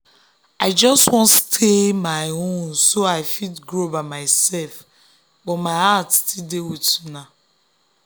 i just wan stay on my own so i fit grow by myself but my heart still dey with una.